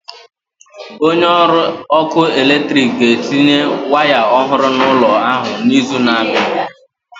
Onye ọrụ ọkụ eletrik ga-etinye waya ọhụrụ n'ụlọ ahụ n'izu na-abịa.